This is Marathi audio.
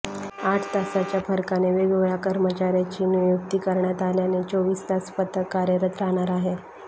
आठ तासाच्या फरकाने वेगवेगळया कर्मचाऱ्याची नियुकती करण्यात आल्याने चोविस तास पथक कार्यरत राहणार आहे